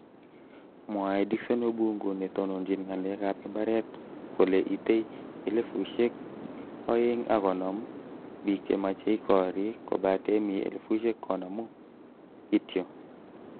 Mwae Dickson Obungu netononchin nga'alek ab imbaret kole itei 250,000 biik chemechei koriik kobate mii 50,000 kityo.